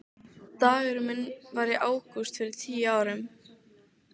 Dagurinn minn var í ágúst fyrir tíu árum.